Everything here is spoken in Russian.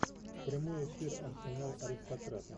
прямой эфир арсенал аристократа